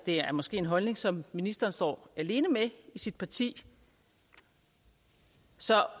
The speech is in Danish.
er måske en holdning som ministeren står alene med i sit parti så